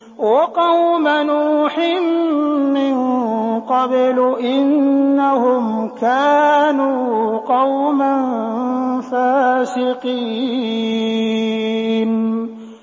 وَقَوْمَ نُوحٍ مِّن قَبْلُ ۖ إِنَّهُمْ كَانُوا قَوْمًا فَاسِقِينَ